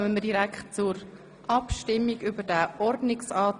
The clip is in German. Demnach kommen wir direkt zur Abstimmung über den Ordnungsantrag.